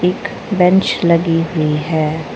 एक बेंच लगी हुई है।